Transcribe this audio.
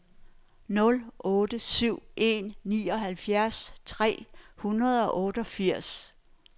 nul otte syv en nioghalvfjerds tre hundrede og otteogfirs